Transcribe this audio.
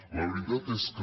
la veritat és que